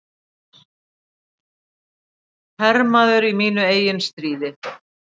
Hermaður í mínu eigin stríði.